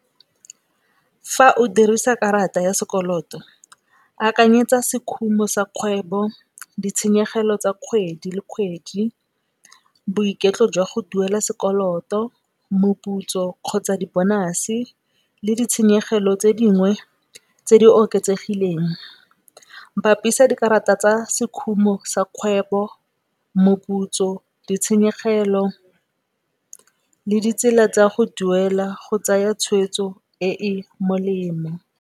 Fa o dirisa karata ya sekoloto, akanyetsa sekhumo sa kgwebo, ditshenyegelo tsa kgwedi le kgwedi, boiketlo jwa go duela sekoloto, moputso kgotsa di bonase le ditshenyegelo tse dingwe tse di oketsegileng. Bapisa dikarata tsa sekhumo sa kgwebo, moputso, ditshenyegelo le ditsela tsa go duela go tsaya tshweetso e e molemo.